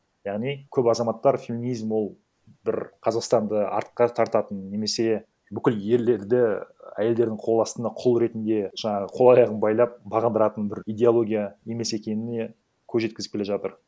яғни көп азаматтар феминизм ол бір қазақстанды артқа тартатын немесе бүкіл ерлерді і әйелдердің қол астына құл ретінде жаңағы қол аяғын байлап бағындыратын бір идеология емес екеніне көз жеткізіп келе жатыр